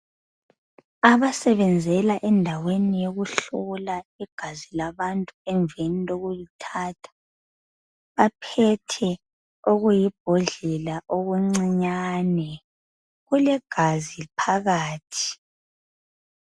Abasebenzela endaweni yokuhlola igazi labantu emveni kokulithatha baphethe okulibhodlela okucinyane kulegazi phakathi.